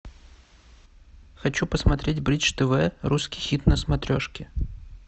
хочу посмотреть бридж тв русский хит на смотрешке